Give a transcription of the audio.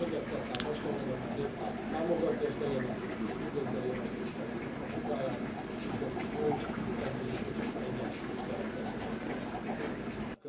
Még egyszer tehát azt tudom mondani, hogy a Néppárt támogatja ezt a jelentést, és üdvözli a jelentéstevőnek a munkáját, hogy sikerült jó, egészséges egyensúlyt teremteni ebben a kérdésben.